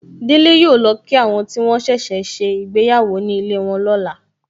Délé yọ lọ kí àwọn tí wọ́n ṣẹ̀ṣẹ̀ ṣe ìgbéyàwó ní ilé wọn lọ́la.